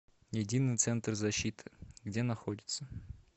единый центр защиты где находится